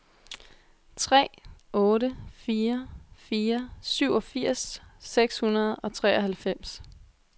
tre otte fire fire syvogfirs seks hundrede og treoghalvfems